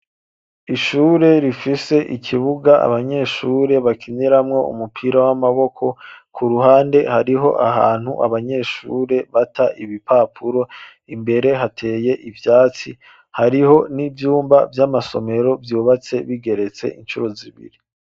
Ishure rifise ikibuga abanyeshure bakiniramwo umupira w'amaboko, ku ruhande hariho ahantu abanyeshure bata ibipapuro, imbere hateye ivyatsi, hariho n'ivyumba vy'amasomero ryubatse bigeretse incuro zibiri.